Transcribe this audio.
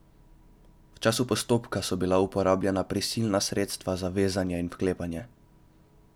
V času postopka so bila uporabljena prisilna sredstva za vezanje in vklepanje.